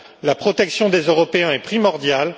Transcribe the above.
La protection des Européens est primordiale.